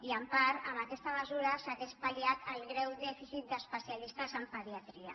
i en part amb aquesta mesura s’hauria pal·liat el greu dèficit d’especialistes en pediatria